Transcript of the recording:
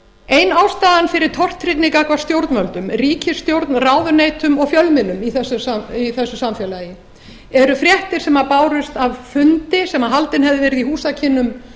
ein ástæðan fyrir tortryggni gagnvart stjórnvöldum ríkisstjórn ráðuneytum og fjölmiðlum í þessu samfélagi eru fréttir sem bárust af fundi sem haldinn hefði verið í húsakynnum